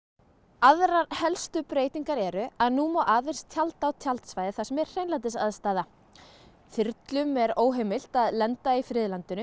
aðrar helstu breytingar eru að nú má aðeins tjalda á tjaldsvæðum þar sem er hreinlætisaðstaða þyrlum er óheimilt að lenda í friðlandinu